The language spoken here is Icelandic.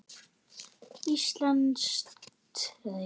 Íslensk rit